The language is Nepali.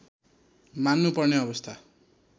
मान्नु पर्ने अवस्था